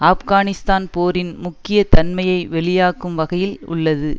ஆப்கானிஸ்தான் போரின் முக்கிய தன்மையை வெளியாக்கும் வகையில் உள்ளது